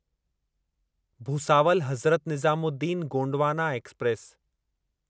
Bhusawal Hazrat Nizamuddin Gondwana express